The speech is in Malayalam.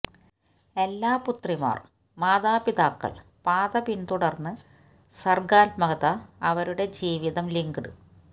എല്ലാ പുത്രിമാർ മാതാപിതാക്കൾ പാത പിന്തുടർന്ന് സർഗാത്മകത അവരുടെ ജീവിതം ലിങ്ക്ഡ്